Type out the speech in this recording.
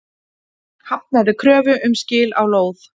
Hafnaði kröfu um skil á lóð